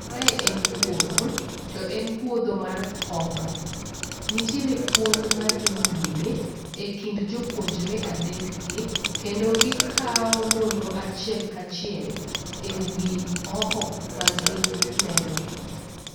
Mae en puodho, to en puodho mar hoho. Nitiere puonj madhi nyime ekind jopuonjre adekgi kendo gikao nonro achiel kachiel ewi hoho magi neno gi.